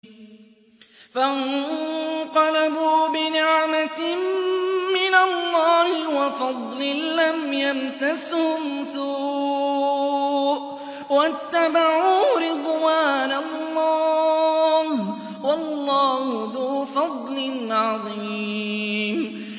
فَانقَلَبُوا بِنِعْمَةٍ مِّنَ اللَّهِ وَفَضْلٍ لَّمْ يَمْسَسْهُمْ سُوءٌ وَاتَّبَعُوا رِضْوَانَ اللَّهِ ۗ وَاللَّهُ ذُو فَضْلٍ عَظِيمٍ